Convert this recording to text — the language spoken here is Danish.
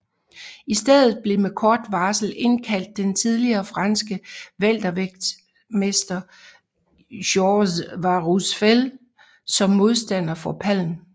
I stedet blev med kort varsel indkaldt den tidligere franske weltervægtsmester Georges Warusfel som modstander for Palm